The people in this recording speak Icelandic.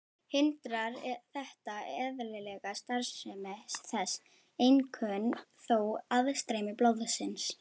Hindrar þetta eðlilega starfsemi þess, einkum þó aðstreymi blóðsins.